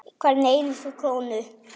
Hverja einustu krónu.